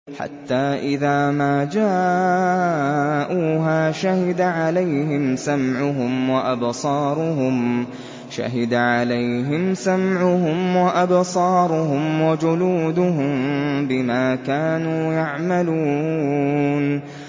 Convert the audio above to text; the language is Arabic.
حَتَّىٰ إِذَا مَا جَاءُوهَا شَهِدَ عَلَيْهِمْ سَمْعُهُمْ وَأَبْصَارُهُمْ وَجُلُودُهُم بِمَا كَانُوا يَعْمَلُونَ